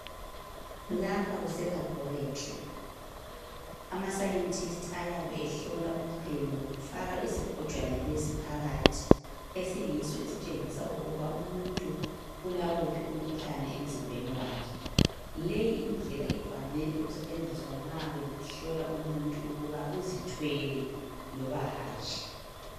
Lapho kuseLaboratory. AmaScientists ayabe ehlola umchemo, ngokufaka usigujana lesi phakathi. Esiyiso esitshengisa ukuba umuntu ulawuphi umkhuhlane emzimbeni wakhe. Leyi indlela ivame ukusetshenziswa nxa behlola umuntu ukuthi uzithwele loba hatshi.